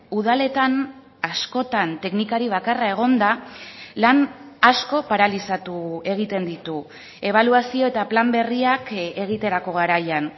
udaletan askotan teknikari bakarra egonda lan asko paralizatu egiten ditu ebaluazio eta plan berriak egiterako garaian